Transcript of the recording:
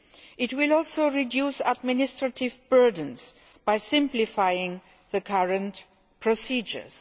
It will also reduce administrative burdens by simplifying the current procedures.